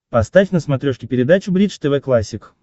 поставь на смотрешке передачу бридж тв классик